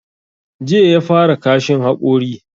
Jiya ya fara kashin hakori.